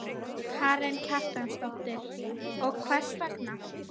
Karen Kjartansdóttir: Og hvers vegna?